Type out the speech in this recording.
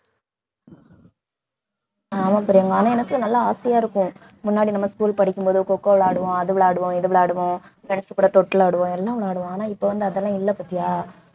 ஆமா பிரியங்கா ஆனா எனக்கும் நல்லா ஆசையா இருக்கும் முன்னாடி நம்ம school படிக்கும் போது coco விளையாடுவோம் அது விளையாடுவோம் இது விளையாடுவோம் நினைச்சு கூட தொட்டில் ஆடுவோம் எல்லாம் விளையாடுவோம் ஆனா இப்ப வந்து அதெல்லாம் இல்லை பாத்தியா